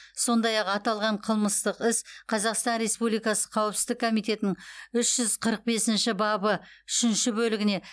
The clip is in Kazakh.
сондай ақ аталған қылмыстық іс қазақстан республикасы қауіпсіздік комитетінің үш жүз қырық бесінші бабы үшінші бөлігіне